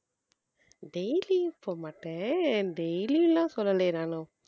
daily போக மாட்டேன் daily எல்லாம் சொல்லலையே நானும்